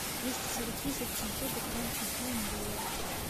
двести сорок тысяч семьсот украинских гривен в долларах